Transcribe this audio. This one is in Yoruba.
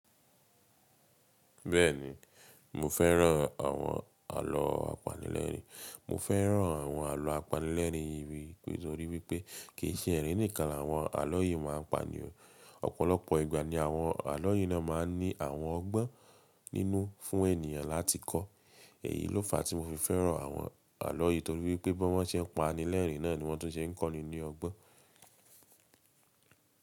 Bẹ́ẹ̀ni, mo fẹ́ràn àwọn àlọ́ apanilẹ́rìn. Mo fẹ́ràn àwọn àlọ́ apanilẹ́rìn yìí torí wípẹ́ kì í ṣe ẹ̀rín nìkan l'àwọn àlọ́ yìí máa ń pani o. Ọ̀pọ̀lọpọ̀ ìgbà ni àwọn àlọ́ yìí náà máa ń ní àwọn ọgbọ́n nínú fún ènìyàn láti kọ́. Èyí ló fàá tí mo fi fẹ́ràn àwọn àlọ́ yìí torí wípẹ́ bí wọ́n ṣe ń apanilẹ́riìn náà ni wọ́n tún ṣe ń kọ́ni ní ọgbọ́n.